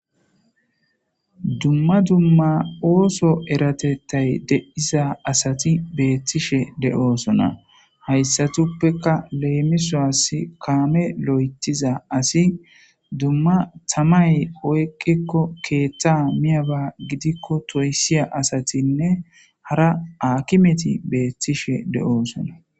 Dumma dumma ooso eratettay deiza asati beethtishe de'oosona hayssatuppeka leemisoas kaame lo'etiza asi dumma tamay oyqikko keeththa miyaba gidikko toysiya asatinne hara akimeti beettishe de'oosona.